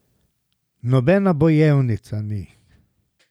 Nobena bojevnica ni.